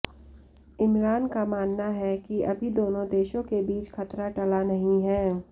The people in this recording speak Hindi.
इमरान का मानना है कि अभी दोनों देशों के बीच खतरा टला नहीं है